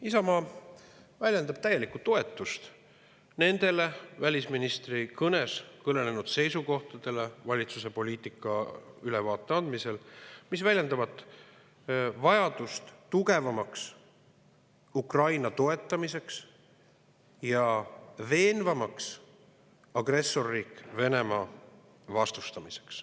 Isamaa avaldab täielikku toetust välisministri seisukohtadele, mis kõlasid kõnes, kus ta andis ülevaate valitsuse poliitikast, ja mis väljendavad vajadust tugevamalt Ukrainat toetada ja veenvamalt agressorriik Venemaad vastustada.